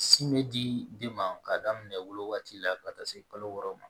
Sin bɛ di den ma k'a daminɛ wolo waati la ka taa se kalo wɔɔrɔ ma